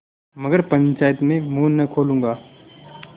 मगर पंचायत में मुँह न खोलूँगा